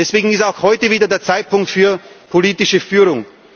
Deswegen ist auch heute wieder der Zeitpunkt für politische Führung.